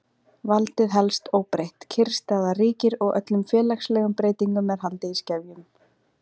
Valdið helst óbreytt, kyrrstaða ríkir og öllum félagslegum breytingum er haldið í skefjum.